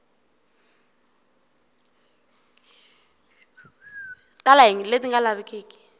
tala hi leti nga lavekeki